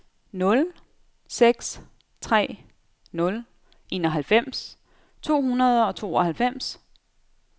nul seks tre nul enoghalvfems to hundrede og tooghalvfems